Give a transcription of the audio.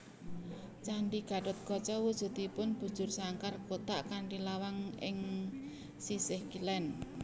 Candhi Gatotkaca wujudipun bujursangkar kotak kanthi lawang ing sisih kilen